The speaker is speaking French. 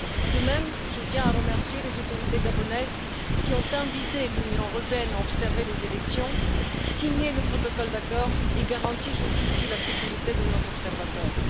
De même, je tiens à remercier les autorités gabonaises, qui ont invité l'Union européenne à observer les élections, signé le protocole d'accord et garanti jusqu'ici la sécurité de nos observateurs.